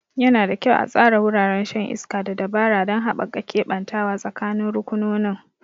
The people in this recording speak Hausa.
Yana da kyau a tsara wuraren shan iska da dabara don haɓaka keɓantawa tsakanin rukunonin.